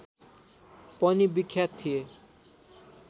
पनि विख्यात थिए